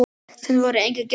Samt voru engir gestir.